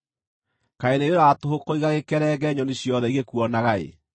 Kaĩ nĩ wĩra wa tũhũ kũiga gĩkerenge nyoni ciothe igĩkuonaga-ĩ!